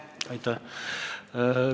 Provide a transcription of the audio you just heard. Aitäh!